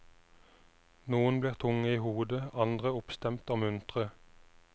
Noen blir tunge i hodet, andre oppstemt og muntre.